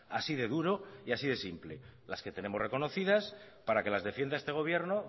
así de duro y así de simple las que tenemos reconocidas para que las defienda este gobierno